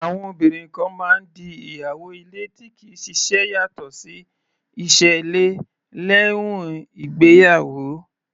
Àwọn obìnrin kan máa ń di ìyàwó ilé tí kì í ṣiṣẹ́ yàtọ̀ sí iṣẹ́ ilé, lẹ́uìn ìgbéyàwó.